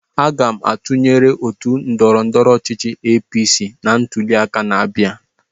Aga m atụnyere otu ndọrọndọrọ ọchịchị APC na ntuliaka na-abịa.